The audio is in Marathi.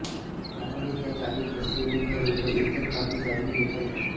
त्यामुळे त्या जागेत असलेली घरे व इतर बाबी जाणून घेता येतात